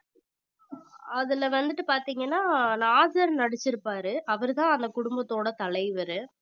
அதுல வந்துட்டு பாத்தீங்கன்னா நாசர் நடிச்சிருப்பாரு அவர்தான் அந்த குடும்பத்தோட தலைவரு